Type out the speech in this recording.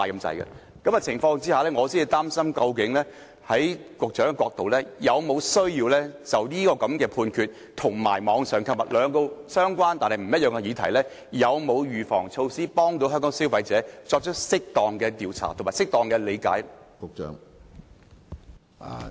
在這情況下，我想問局長，是否有需要就歐盟的裁決和網上購物這兩個相關但不一樣的議題，採取預防措施，以幫助香港的消費者理解有關問題，以及作出適當的調查？